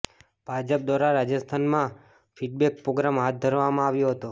ભાજપ દ્વારા રાજસ્થાનમાં feedback programme હાથ ધરવામાં આવ્યો હતો